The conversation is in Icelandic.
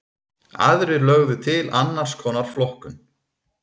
Aðrir lögðu til annars konar flokkun.